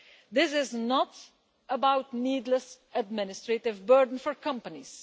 This is not about needless administrative burden for companies.